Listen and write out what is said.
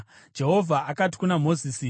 Jehovha akati kuna Mozisi,